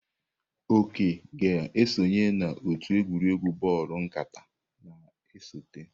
Oke ga-esonye n'otu egwuregwu bọọlụ nkata na-esote.